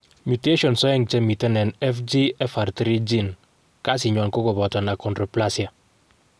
Mutations oeng chemiten en FGFR3 gene kasinywan ko kopoto achondroplasia.